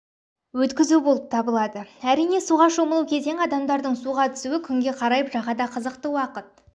өткізу болып табылады әрине суға шомылу кезеңі адамдардың суға түсуі күнге қарайып жағада қызықты уақыт